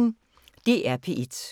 DR P1